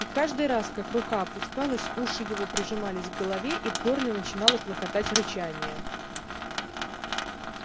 и каждый раз как рука опускалась уши его прижимались к голове и в горле начинало клокотать рычание